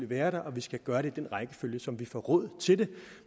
være der og vi skal gøre det i den rækkefølge som vi får råd til det